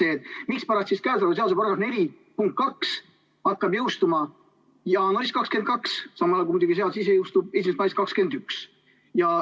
Näiteks sellele, miks käesoleva seaduse § 4 punkt 2 jõustub jaanuaris 2022, samal ajal seadus ise jõustub ilmselt mais 2021.